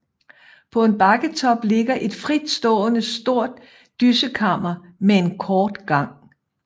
På en bakketop ligger et fritstående stort dyssekammer med en kort gang